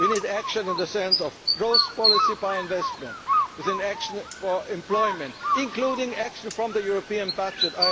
action we need action in the sense of growth policy by investment, with action for employment, including action from the European